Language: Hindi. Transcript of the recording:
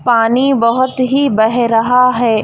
पानी बहुत ही बह रहा है।